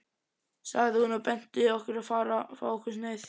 sagði hún og benti okkur á að fá okkur sneið.